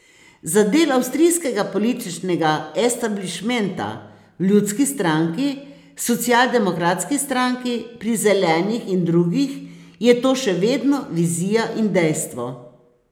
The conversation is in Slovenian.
Za del avstrijskega političnega establišmenta, v ljudski stranki, socialdemokratski stranki, pri zelenih in drugih je to še vedno vizija in dejstvo.